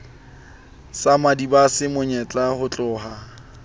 sa madibase mo nyeka hotloha